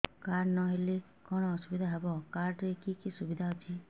card ନହେଲେ କଣ ଅସୁବିଧା ହେବ କାର୍ଡ ରେ କି କି ସୁବିଧା ଅଛି